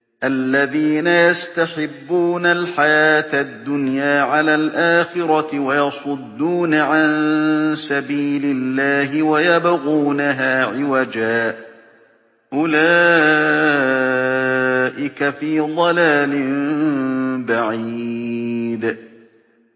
الَّذِينَ يَسْتَحِبُّونَ الْحَيَاةَ الدُّنْيَا عَلَى الْآخِرَةِ وَيَصُدُّونَ عَن سَبِيلِ اللَّهِ وَيَبْغُونَهَا عِوَجًا ۚ أُولَٰئِكَ فِي ضَلَالٍ بَعِيدٍ